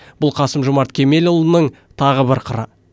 бұл қасым жомарт кемелұлының тағы бір қыры